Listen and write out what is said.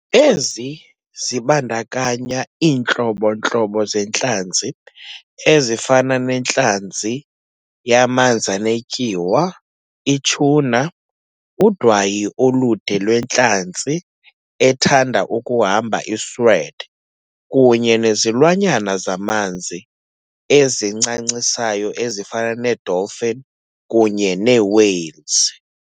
Ezi zibandakanya iintlobo-ntlobo zeentlanzi, ezifana nentlanzi yamanzanetyuwa i-tuna, udwayi olude lwentlanzi ethand'ukuhamba i-sword kunye nezilwanyana zamanzi ezincancisayo ezifana nee-dolphin kunye nee-whales.